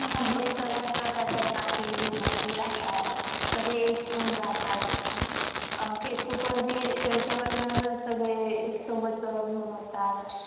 विस्तार करण्यासाठी राहतात. सगळे एक होऊन राहतात. हे सगळे सोबत मनवतात.